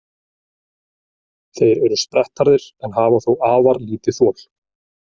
Þeir eru sprettharðir en hafa þó afar lítið þol.